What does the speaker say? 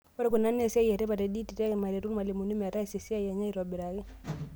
Ore kuna naa esiai etipat e Ed tech, peeretu irmalimuni metaasa esiai enye aaitobiraki.